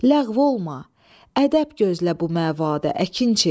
Ləğv olma, ədəb gözlə bu məvadə, əkinçi.